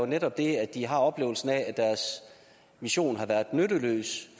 netop er det at de har oplevelsen af at deres mission har været nytteløs